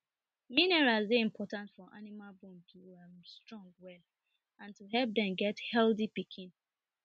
minerals dey important for animal bone to strong well and to help them get healthy pikin